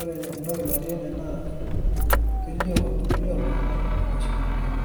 ore entoki natii ene naa kelioo iltung'anak, eoshito olaini.